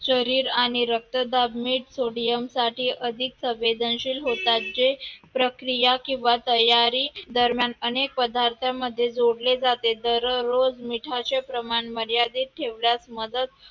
शरीर आणि रक्तदाब मीठ sodium सारखे अधिक संवेदनशील होतात जे प्रक्रिया किंवा तयारी दरम्यान अधिक पदार्थांमध्ये जोडले जाते दररोज मिठाचे प्रमाण मर्यादित ठेवण्यास मदत